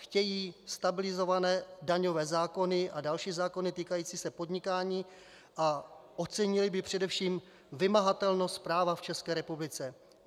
Chtějí stabilizované daňové zákony a další zákony týkající se podnikání a ocenili by především vymahatelnost práva v České republice.